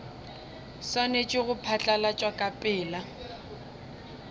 swanetše go phatlalatšwa ka pela